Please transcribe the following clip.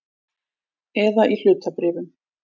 Eða í hlutabréfum.